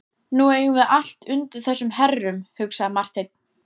Nú eigum við allt undir þessum herrum, hugsaði Marteinn.